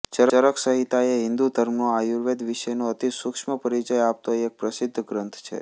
ચરક સંહિતા એ હિંદુ ધર્મનો આયુર્વેદ વિષયનો અતિસુક્ષ્મ પરિચય આપતો એક પ્રસિદ્ધ ગ્રંથ છે